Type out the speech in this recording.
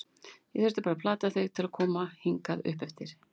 Ég þurfti bara að plata þig til að koma hingað uppeftir.